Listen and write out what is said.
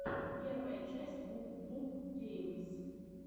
первая часть вуп вуп геймс